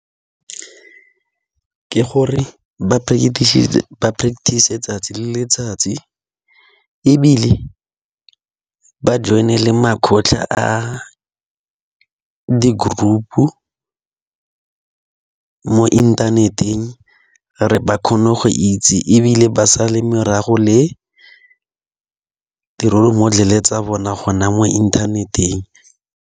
Ke gore ba practice letsatsi le letsatsi, ebile ba join-e le makgotla a di-group-u mo inthaneteng. Gore ba kgone go itse ebile ba sale morago, le di-role model-e tsa bona gona mo inthaneteng.